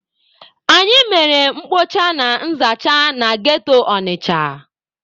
Anyị mere mkpocha na nzacha na ghetto Ọnịcha.